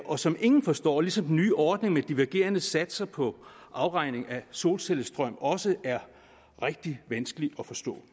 og som ingen forstår og til den nye ordning med divergerende satser på afregning af solcellestrøm som også er rigtig vanskelig at forstå